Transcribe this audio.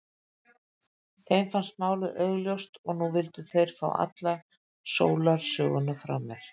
Þeim fannst málið augljóst og nú vildu þeir fá alla sólarsöguna frá mér.